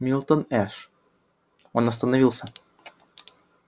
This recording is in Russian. милтон эш он остановился